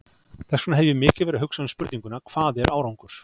Þess vegna hef ég mikið verið að hugsa um spurninguna, hvað er árangur?